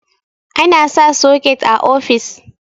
ana sa soket a ofis